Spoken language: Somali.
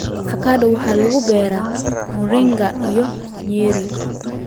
Avocado waxa lagu beeraa Murang'a iyo Nyeri.